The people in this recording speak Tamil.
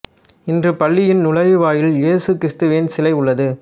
இன்று பள்ளியின் நுழைவு வாயிலில் இயேசு கிறிஸ்துவின் சிலை உள்ளது